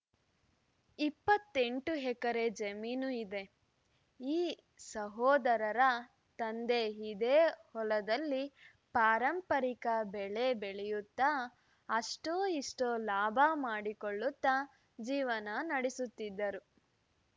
ಇಪ್ಪತ್ತೆಂಟು ಎಕರೆ ಜಮೀನು ಇದೆ ಈ ಸಹೋದರರ ತಂದೆ ಇದೇ ಹೊಲದಲ್ಲಿ ಪಾರಂಪರಿಕ ಬೆಳೆ ಬೆಳೆಯುತ್ತಾ ಅಷ್ಟೋ ಇಷ್ಟೋ ಲಾಭ ಮಾಡಿಕೊಳ್ಳುತ್ತಾ ಜೀವನ ನಡೆಸುತ್ತಿದ್ದರು